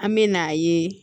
An me n'a ye